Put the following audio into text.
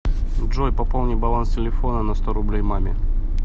джой пополни баланс телефона на сто рублей маме